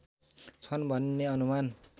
छन् भन्ने अनुमान